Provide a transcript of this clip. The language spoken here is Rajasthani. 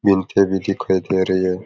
मिनखे भी दिखाई दे रहे है।